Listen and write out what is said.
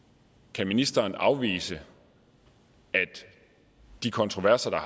kan ministeren afvise at de kontroverser der